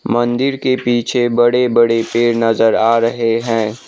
मन्दिर के पीछे बड़े बड़े पेड़ नज़र आ रहे है।